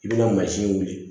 I bɛna mansin wuli